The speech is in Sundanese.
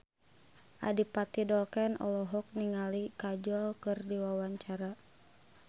Adipati Dolken olohok ningali Kajol keur diwawancara